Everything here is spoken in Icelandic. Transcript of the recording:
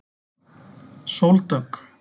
Sóldögg